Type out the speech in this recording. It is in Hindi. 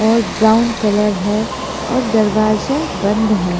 और ब्राउन कलर है और दरवाजा बंद है।